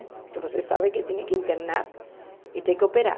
Porque vocês sabem que tem que internar e tem que operar.